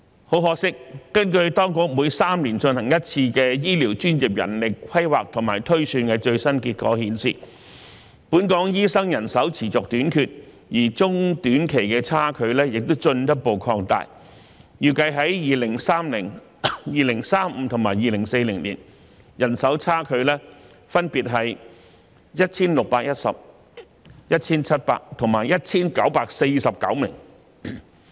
很可惜，根據當局每3年進行一次的醫療專業人力規劃和推算的最新結果顯示，本港醫生人手持續短缺，而中短期的差距亦進一步擴大，預計在2030年、2035年及2040年，人手差距分別為 1,610 名、1,700 名和 1,949 名。